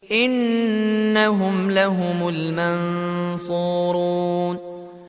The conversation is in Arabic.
إِنَّهُمْ لَهُمُ الْمَنصُورُونَ